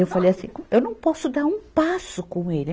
Eu falei assim, eu não posso dar um passo com ele.